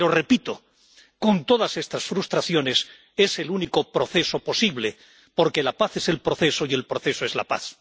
Pero, repito, con todas estas frustraciones, es el único proceso posible, porque la paz es el proceso y el proceso es la paz.